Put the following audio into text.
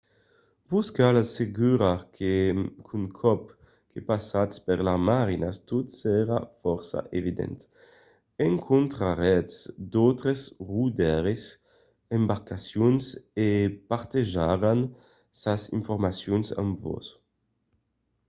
vos cal assegurar qu'un còp que passatz per las marinas tot serà fòrça evident. encontraretz d’autres rodaires d'embarcacions e partejaràn sas informacions amb vos